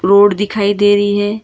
Road दिखाई दे रही है।